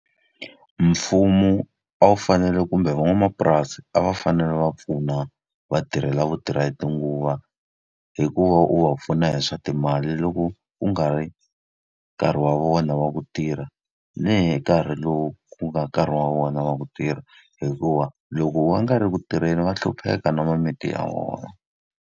Mfumo a wu fanele kumbe van'wamapurasi a va fanele va pfuna va tirhi lava vo tirha hi tinguva. Hi ku va wu va pfuna hi swa timali loko ku nga ri nkarhi wa vona wa ku tirha, ni hi nkarhi lowu ku nga nkarhi wa vona wa ku tirha. Hikuva loko va nga ri ku tirheni va hlupheka na mimiti ya vona.